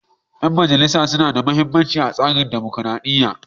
Ƴan majalisa na da muhimmanci a tsarin dumukuradiyya.